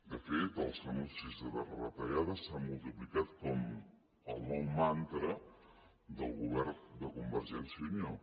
de fet els anuncis de retallades s’han multiplicat com el nou mantra del govern de convergència i unió